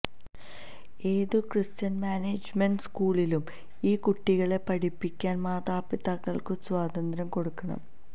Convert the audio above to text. ഏതു Christian management സ്കൂളിലും ഈ കുട്ടികളെ പഠിപ്പിക്കാന് മാതാപിതാക്കള്ക്കു സ്വാതന്ത്ര്യം കൊടുക്കണം